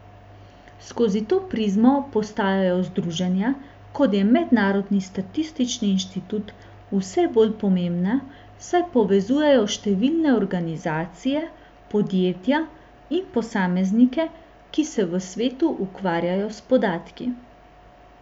Skozi to prizmo postajajo združenja, kot je Mednarodni statistični inštitut, vse bolj pomembna, saj povezujejo številne organizacije, podjetja in posameznike, ki se v svetu ukvarjajo s podatki.